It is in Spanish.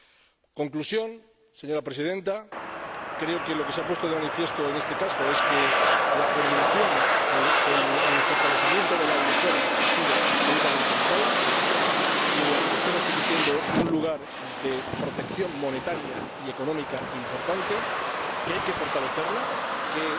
En conclusión, señora Presidenta, creo que lo que se ha puesto de manifiesto en este caso es que la coordinación y el fortalecimiento de la eurozona han sido absolutamente vitales, que la eurozona sigue siendo un lugar de protección monetaria y económica importante, que hay que fortalecerla y que